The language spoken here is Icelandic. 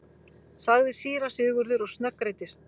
sagði síra Sigurður og snöggreiddist.